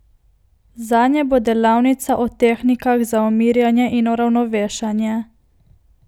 Zanje bo delavnica o tehnikah za umirjanje in uravnovešanje.